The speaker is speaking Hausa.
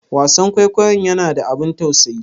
Wasan kwaikwayonnya na da abun tausayi?